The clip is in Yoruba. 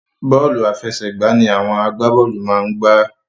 Bọ́ọ̀lù àfẹsẹ̀gbá ni àwọn agbábọ́ọ̀lù máa ń gbá